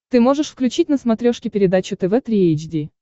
ты можешь включить на смотрешке передачу тв три эйч ди